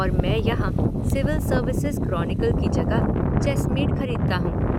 और मैं यहां सिविल सर्विसेज़ क्रोनिकल की जगह चेसमेट खरीदता हूँ।